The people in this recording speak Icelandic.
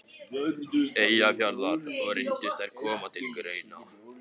Eyjafjarðar, og reyndust þær koma til greina.